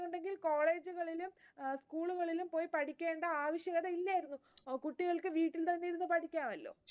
college കളിലും school കളിലും പോയി പഠിക്കേണ്ട ആവശ്യകത ഇല്ലായിരുന്നു, കുട്ടികൾക്ക് വീട്ടിൽ തന്നെ ഇരുന്നു പഠിക്കാമല്ലോ